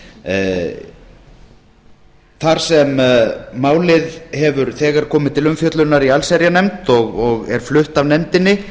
námskeiðshaldinu þar sem málið hefur þegar komið til umfjöllunar í allsherjarnefnd og er flutt af nefndinni